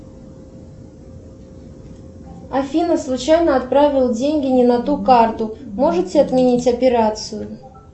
афина случайно отправил деньги не на ту карту можете отменить операцию